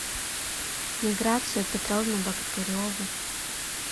миграцию петровну богатыреву